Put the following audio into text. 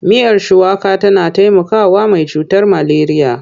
Miyar shuwaka tana taimakawa mai cutar maleriya.